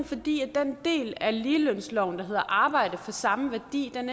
fordi den del af ligelønsloven der hedder arbejde af samme værdi